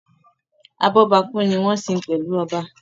Abọ́bakú ni wọ́n ń sin pẹ̀lú oba